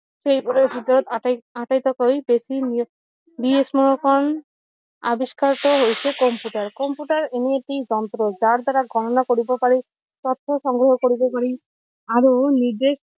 সেই বোৰৰ ভিতৰত আটাইতকৈ বেছি আৱিষ্কাৰ টো হৈছে কম্পিউটাৰ কম্পিউটাৰ এনে এটি যন্ত্ৰ যাৰ দ্বাৰা গণনা কৰিব পাৰি তথা সংগ্ৰহ কৰিব পাৰি আৰু নিৰ্দেশ